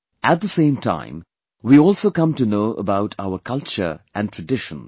At the same time, we also come to know about our culture and traditions